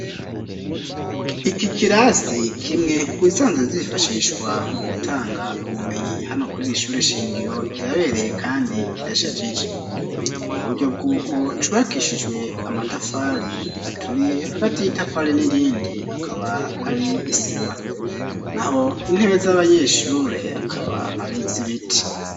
Iki kirasi kimwe mu zisanzwe zifashishwa mu gutanga ubumenyi hano kuriri ishure shingiro kirabereye kandi kirashagije ni muburyo bw'uko cubakishijwe amatafari aturiye hagati y'itafari n'irindi akaba ari isima naho intebe z'abanyeshure akaba ari zibiti.